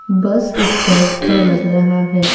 बस स्टैंड का लग रहा है।